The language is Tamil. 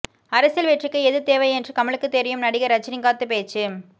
அரசியல் வெற்றிக்கு எது தேவை என்று கமலுக்கு தெரியும் நடிகர் ரஜினிகாந்த் பேச்சு